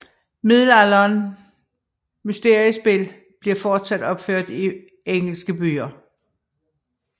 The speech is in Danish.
Middelalderen mysteriespil bliver fortsat opført i engelske byer